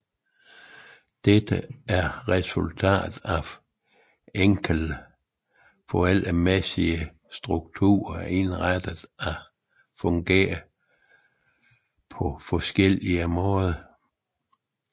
Dette er resultatet af en enkelt forældremæssig struktur er indrettet til at fungere på forskellige måder